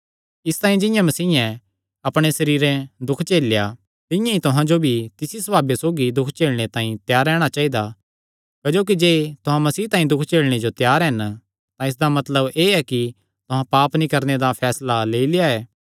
इसतांई जिंआं मसीयें अपणे सरीरे दुख झेलेया तिंआं ई तुहां जो भी तिसी सभावे सौगी दुख झेलणे तांई त्यार रैहणा चाइदा क्जोकि जे तुहां मसीह तांई दुख झेलणे जो त्यार हन तां इसदा मतलब एह़ कि तुहां पाप नीं करणे दा फैसला लेई लेआ ऐ